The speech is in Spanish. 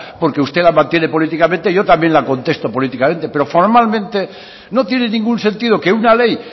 porque usted la mantiene políticamente yo también la contesto políticamente pero formalmente no tiene ningún sentido que una ley